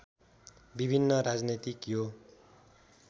विभिन्न राजनैतिक यो